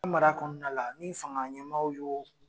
Mara kɔnɔna la ni fanga ɲɛmaw y'o